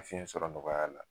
Fiɲɛ sɔrɔ nɔgɔya la